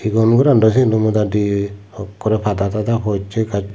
uon gorandaw siyendaw modadi okkrey pada tada possey gaas.